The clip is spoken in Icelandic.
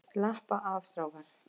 Slappa af strákar!